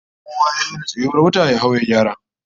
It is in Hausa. Kowa ya raina tsayuwar wata, ya hau ya gyara!